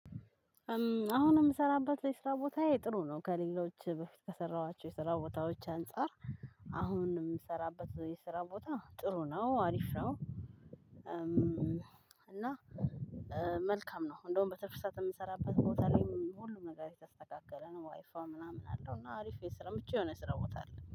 አሁንም እምሰራበት የስራ ቦታዬ ጥሩ ነው ከሌሎች በፊት ከሰራኋቸው የስራ ቦታዎች አንፃር። አሁን የምሰራበት የስራ ቦታ ጥሩ ነው አሪፍ ነው። እና መልካም ነው እንደውም በትርፍ የምሰራበት ቦታ ላይ ሁሉም ነገር የተስተካከለ ነው። ዋይፋ ምናምን አለው። እና አሪፍ የስራ ምቹ የሆነ የስራ ቦታ አለ